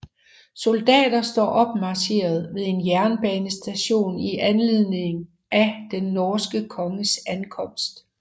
Soldater står opmarcheret ved en jernbanestation i anledning af den norske konges ankomst